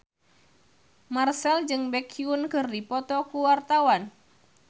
Marchell jeung Baekhyun keur dipoto ku wartawan